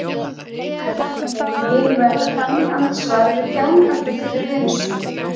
Hver persónuleiki verður þannig andsvar við þjáningarfullri reynslu.